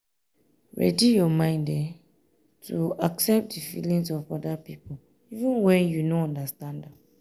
um ready your mind to um accept di um feelings of oda pipo even when you no understand am